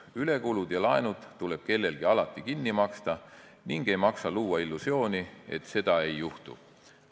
Ülekulud ja laenud tuleb kellelgi alati kinni maksta ning ei maksa luua illusiooni, et seda ei juhtu.